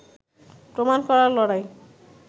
প্রমাণ করার লড়াই